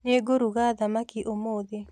Nĩngũruga thamaki ũmũthĩ